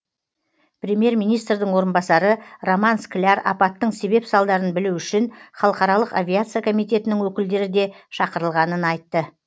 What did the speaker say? премьер министрдің орынбасары роман скляр апаттың себеп салдарын білу үшін халықаралық авиация комитетінің өкілдері де шақырылғанын айтты